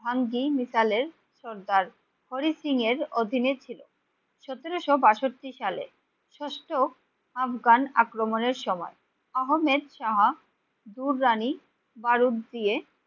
অঙ্গি মিশালে সর্দার হরি সিং এর অধীনে ছিল। সতেরোশো বাষট্টি সালে ষষ্ট আফগান আক্রমণের সময় আহমেদ শাহ দুররানি বারুদ দিয়ে